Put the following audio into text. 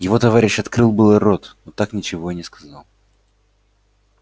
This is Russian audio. его товарищ открыл было рот но так ничего и не сказал